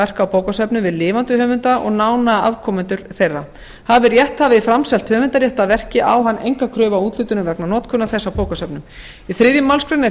verka á bókasöfnum við lifandi höfunda og nána afkomendur þeirra hafi rétthafi framselt höfundarrétt að verki á hann enga kröfu á úthlutun vegna notkunar þess á bókasöfnum í þriðju málsgrein er